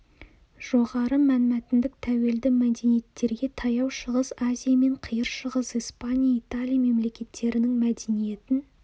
жоғары мәнмәтіндік тәуелді мәдениеттерге таяу шығыс азия мен қиыр шығыс испания италия мемлекеттерінің мәдениетін